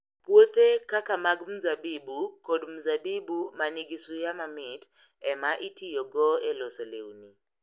Puothe kaka mag mzabibu, kod mzabibu ma nigi suya mamit e ma itiyogo e loso lewni.